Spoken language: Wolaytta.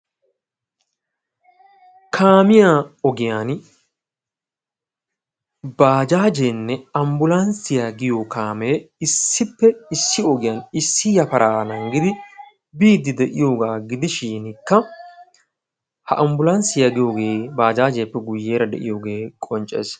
Kaamiyaa ogiyaan baajajeenne ambulansiyaa yaagiyoogee issippe issi ogiyaan issi yafaraa nanggidi biidi diyoogaa gidishin ambbulansiyaa giyoogee baajaajiyaappe guye baggaara diyoogee qonccees.